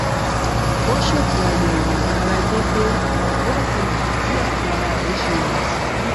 ó ṣètò àyèwò ara déédéé láti lè mọ bí àgọ ara rẹ ṣe wà sí